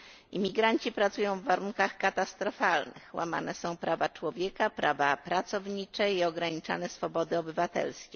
Imigranci pracują w warunkach katastrofalnych, łamane są prawa człowieka, prawa pracownicze i ograniczane swobody obywatelskie.